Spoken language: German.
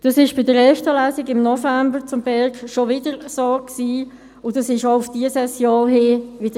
Das ist in der ersten Lesung zum BerG im November wieder so gewesen und auch im Vorfeld dieser Session erneut so geschehen: